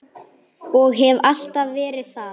Og hef alltaf verið það.